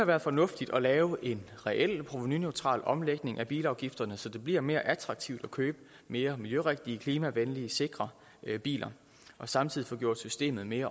været fornuftigt at lave en reelt provenuneutral omlægning af bilafgifterne så det bliver mere attraktivt at købe mere miljørigtige klimavenlige og sikre biler og samtidig få gjort systemet mere